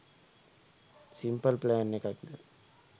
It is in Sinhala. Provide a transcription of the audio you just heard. සිම්පල් ප්ලෑන් එකක්ද?